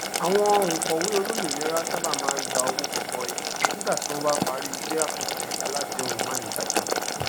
àwọn onkòwe olómìnira sáábà máa gba owó gọbọi nígbà tí wọn parí isẹ àkànṣe aládéhùn manígbàgbé